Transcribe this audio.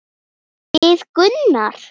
Við Gunnar?